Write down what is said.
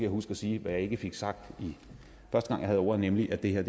huske at sige hvad jeg ikke fik sagt første gang jeg havde ordet nemlig at det her